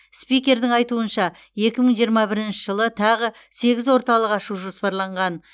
спикердің айтуынша екі мың жиырма бірінші жылы тағы сегіз орталық ашу жоспарланған